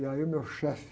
E aí o meu chefe